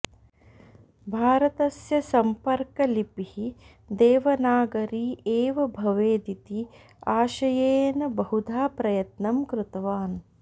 भारतस्य सम्पर्कलिपिः देवनागरी एव भवेदिति आशयेन बहुधा प्रयत्नं कृतवान्